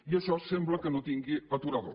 i això sembla que no tingui aturador